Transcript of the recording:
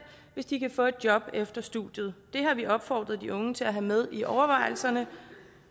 hvis de kan få et job efter studiet det har vi opfordret de unge til at have med i overvejelserne